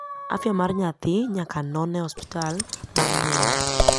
afya mar nyathi nyaka non e hospital bang nyuol